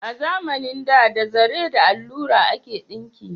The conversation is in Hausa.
A zamanin da, da zare da allura ake dinki